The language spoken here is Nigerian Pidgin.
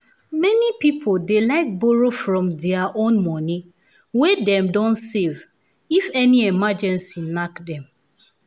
many people dey like to borrow from dia own money wey dem don save if any emergency knack dem